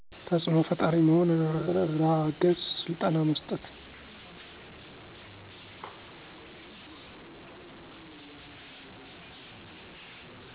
ተፅኖ ፈጣሪ መሆን እራ አገዝ ስልጠና መስጠት